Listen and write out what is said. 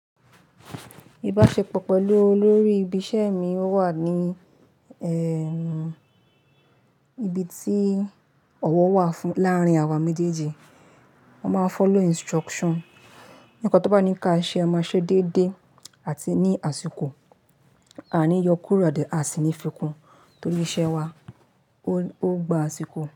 Ìbáṣepọ̀ pẹ̀lú olórí ibi iṣẹ́ mi ó wà ní ẹ́, ibi tí ọ̀wọ̀ wà fún láàárín àwa méjèèjì. Wọ́n máa ń follow instruction. Nìpa n tó bá ní ká ṣe, a máa ṣe déédéé àti ní àsìkò. A ní yọkùrọ̀dẹ̀, a sì ní fikún. Tórí iṣẹ́ wa, ó, ó gba àsìkò.